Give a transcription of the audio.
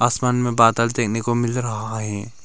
आसमान में बादल देखने को मिल रहा है।